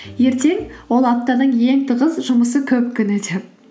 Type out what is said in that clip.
ертең ол аптаның ең тығыз жұмысы көп күні деп